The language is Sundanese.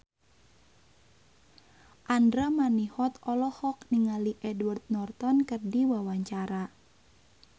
Andra Manihot olohok ningali Edward Norton keur diwawancara